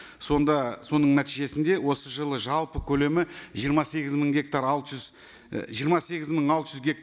сонда соның нәтижесінде осы жылы жалпы көлемі жиырма сегіз мың гектар алты жүз і жиырма сегіз мың алты жүз